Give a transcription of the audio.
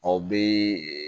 Aw bɛ